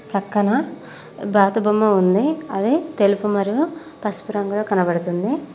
పక్కన బాతు బొమ్మ ఉంది అది తెలుపు మరి పసుపు రంగులో కనబడుతుంది.